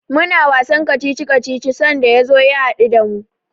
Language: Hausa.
Muna wasan kacici-kacici sanda ya zo ya haɗu da mu.